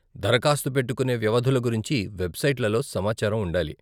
దరఖాస్తు పెట్టుకునే వ్యవధుల గురించి వెబ్సైట్లలో సమాచారం ఉండాలి.